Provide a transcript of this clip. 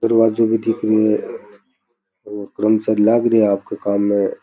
दरवाजो भी दिख रिया है और कर्मचारी लग रहे आपक काम में --